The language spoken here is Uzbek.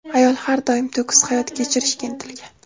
Ayol har doim to‘kis hayot kechirishga intilgan.